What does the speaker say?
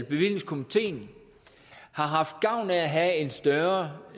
bevillingskomiteen har haft gavn af at have en større